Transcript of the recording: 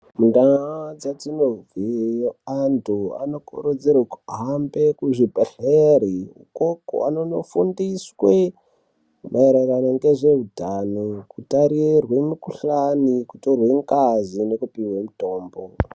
Mundaa dzatinobve antu anokurudzirwe kuende kuzvibhedhlere ikoko anonofundiswe maererano ngezveutano, kutarirwe mikuhlani, kutorwe ngazi nekupihwe mitombo.